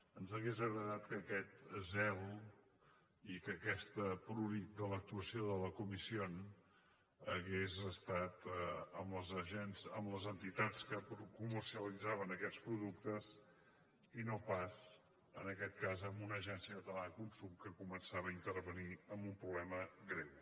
ens hauria agradat que aquest zel i que aquest prurit de l’actuació de la comisiónque comercialitzaven aquests productes i no pas en aquest cas amb una agència catalana del consum que començava a intervenir en un problema greu